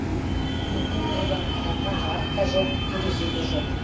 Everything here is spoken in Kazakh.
енді бозамықтанған жарық та жоқ терезе де жоқ